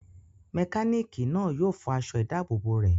Mẹkánìkì náà yóò fọ aṣọ ìdábòbò rẹ̀